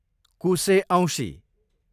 कुसे औँसी